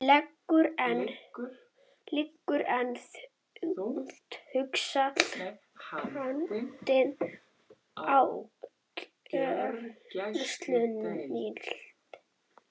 Liggur enn þungt haldin á gjörgæsludeild